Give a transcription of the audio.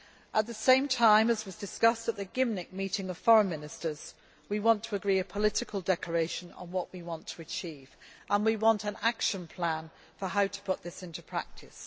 At the same time, as was discussed at the Gymnich' meeting of foreign ministers, we want to agree a political declaration on what we want to achieve, and we want an action plan on how to put this into practice.